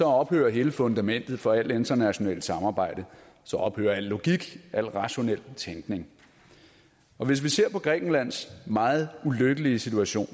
ophørte hele fundamentet for alt internationalt samarbejde så ophørte al logik al rationel tænkning hvis vi ser på grækenlands meget ulykkelige situation